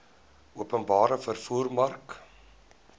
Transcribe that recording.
openbare vervoer mark